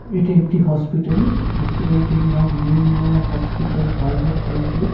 এটি একটি hospital hospital টির নাম নির্ণয় হসপিটাল প্রাইভেট লিমিটেড ।